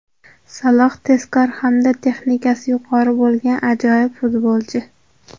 Saloh – tezkor hamda texnikasi yuqori bo‘lgan ajoyib futbolchi.